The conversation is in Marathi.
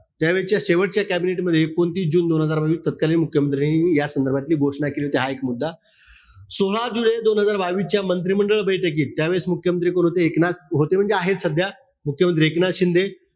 त्यावेळेचे शेवटच्या cabinet मध्ये एकोणतीस जुन दोन हजार तत्कालीन मुख्यमंत्रीनि या संदर्भातली घोषणा केली होती. हा एक मुद्दा, सोळा जुलै दोन हजार बावीस च्या मंत्रिमंडळ बैठकीत त्यावेळीस मुख्यमंत्री कोण होते? एकनाथ, होते म्हणजे आहेच सध्या मुख्यमंत्री एकनाथ शिंदे.